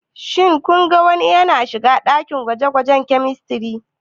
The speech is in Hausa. Shin kun ga wani yana shiga dakin gwaje-gwajen Chemistry?